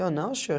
Eu não, senhor.